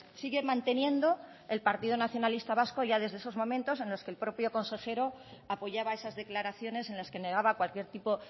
sigue manteniendo el partido nacionalista vasco ya desde esos momentos en los que el propio consejero apoyaba esas declaraciones en las que negaba cualquier tipo